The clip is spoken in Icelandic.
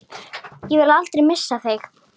Ég vil aldrei missa þig.